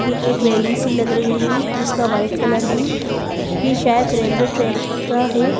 ये एक रेलिंग सी लग रही है जिसका व्हाइट कलर है ये शायद रेलवे ट्रैक का है।